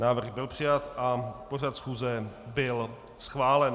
Návrh byl přijat a pořad schůze byl schválen.